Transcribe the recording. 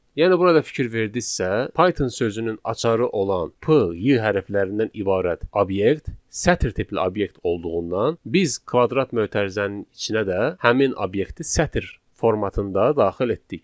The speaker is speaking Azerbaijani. Yəni burada fikir verdinizsə, Python sözünün açarı olan p, y hərflərindən ibarət obyekt, sətr tipli obyekt olduğundan biz kvadrat mötərizənin içinə də həmin obyekti sətr formatında daxil etdik.